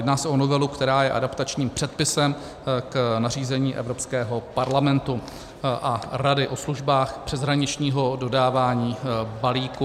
Jedná se o novelu, která je adaptačním předpisem k nařízení Evropského parlamentu a Rady o službách přeshraničního dodávání balíků.